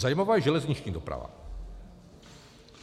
Zajímavá je železniční doprava.